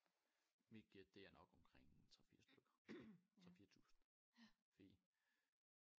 Mit gæt det er nok omkring en 3 4 stykker 3 4 tusind fordi